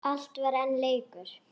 Allt var enn leikur.